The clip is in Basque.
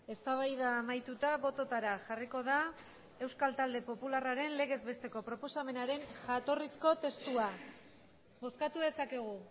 eztabaida amaituta bototara jarriko da euskal talde popularraren legez besteko proposamenaren jatorrizko testua bozkatu dezakegu